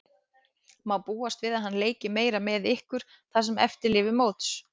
Má búast við að hann leiki meira með ykkur það sem eftir lifir móts?